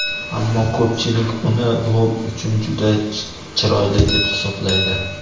Ammo ko‘pchilik uni rol uchun juda chiroyli deb hisoblaydi.